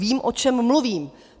Vím, o čem mluvím.